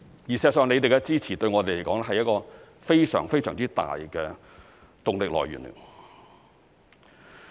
事實上，議員的支持對我們來說是非常大的動力來源。